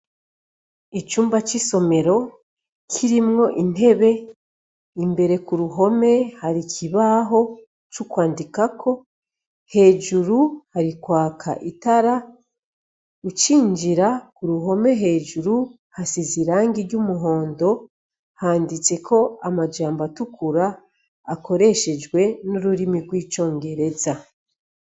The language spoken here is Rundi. Icumba cisomero kirimwo intebe, imbere kuruhome hari ikibaho cukwandikako hejuru kwaka itara ,ucinjira kuruhome hejuru hasize Irangi iry'umuhondo handitseko amajambo atukura akoreshejwe nururimi rwicongereza.